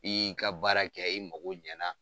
I y'i ka baara kɛ i mago ɲɛ na.